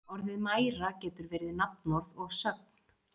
Orðið mæra getur verið nafnorð og sögn.